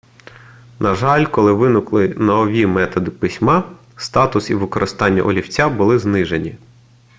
на жаль коли виникли нові методи письма статус і використання олівця були знижені